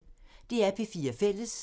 DR P4 Fælles